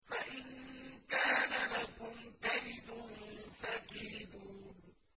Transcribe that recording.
فَإِن كَانَ لَكُمْ كَيْدٌ فَكِيدُونِ